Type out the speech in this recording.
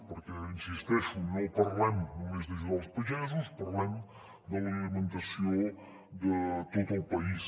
perquè hi insisteixo no parlem només d’ajudar els pagesos parlem de l’alimentació de tot el país